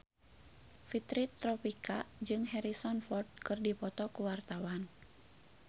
Fitri Tropika jeung Harrison Ford keur dipoto ku wartawan